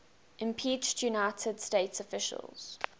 impeached united states officials